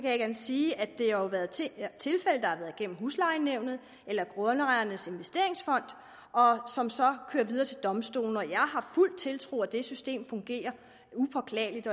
at sige at det jo har været tilfælde der har været gennem huslejenævnet eller grundejernes investeringsfond og som så kører videre til domstolene jeg har fuld tiltro til at det system fungerer upåklageligt